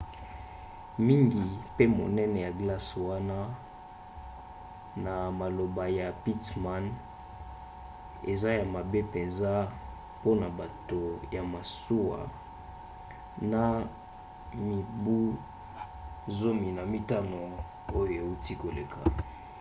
mingi mpe monene ya glace wana na maloba ya pittman eza ya mabe mpenza mpona bato ya masuwa na mibu 15 oyo euti koleka